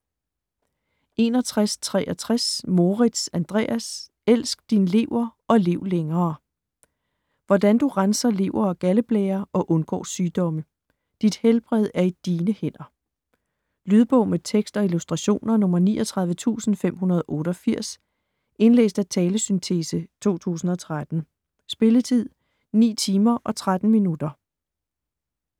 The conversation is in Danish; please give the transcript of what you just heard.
61.63 Moritz, Andreas: Elsk din lever og lev længere Hvordan du renser lever og galdeblære og undgår sygdomme: dit helbred er i dine hænder. Lydbog med tekst og illustrationer 39588 Indlæst af talesyntese, 2013. Spilletid: 9 timer, 13 minutter.